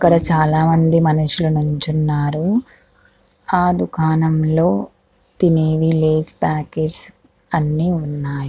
ఇక్కడ చాలా మంది మనుసులు నిల్చున్నారు ఆ దుకాణం లో తినేవి లేస్ పాకెట్స్ అన్ని ఉన్నాయి.